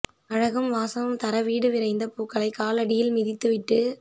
அழகும் வாசமும் தர வீடு விரைந்த பூக்களை காலடியில் மிதித்து விட்டு